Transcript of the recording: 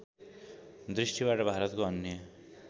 दृष्टिबाट भारतको अन्य